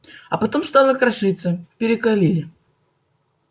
а потом стала крошиться перекалили